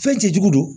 Fɛn cɛjugu don